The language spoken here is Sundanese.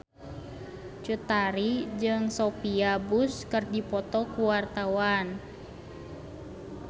Cut Tari jeung Sophia Bush keur dipoto ku wartawan